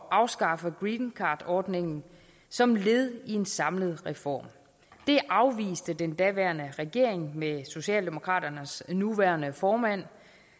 afskaffe greencardordningen som led i en samlet reform det afviste den daværende regering med socialdemokraternes nuværende formand